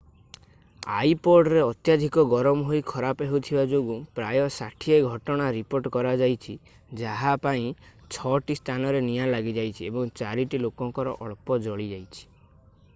ଆଇପଡରେ ଅତ୍ୟଧିକ ଗରମ ହୋଇ ଖରାପ ହେଉଥିବା ଯୋଗୁଁ ପ୍ରାୟ 60 ଘଟଣା ରିପୋର୍ଟ କରାଯାଇଛି ଯାହା ପାଇଁ 6 ଟି ସ୍ଥାନରେ ନିଆଁ ଲାଗିଯାଇଛି ଏବଂ 4 ଟି ଲୋକଙ୍କର ଅଳ୍ପ ଜଳିଯାଇଛି